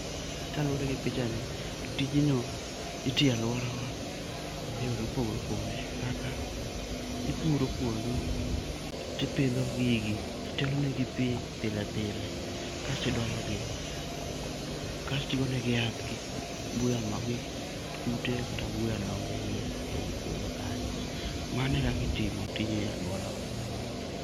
Kaluwore gi picha ni tijni itiyo e aluorawa eyore mopogore opogore kaka ipuro puodho to ipidho gigi. To iolo negi pi pile pile kas to idoyo gi. Kae to igoyo negi yath kik buya ma kik kute kmakgi kata kik buya dong eiye ei puodho kanyo. Mano e kaka itimo tijni e aluorawa.